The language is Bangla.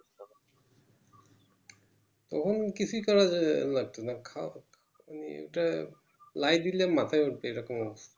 তখন কিছুই করার লাগতো না খোওয়া ওটা লাই দিলে মাথায় ওঠযে এরকম অবস্থা